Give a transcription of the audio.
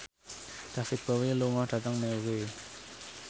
David Bowie lunga dhateng Newry